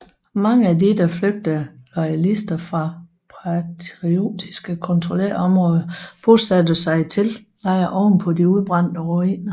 Mange af de de flygtende loyalister fra patriotiske kontrollerede områder bosatte sig i teltlejre ovenpå de udbrændte ruiner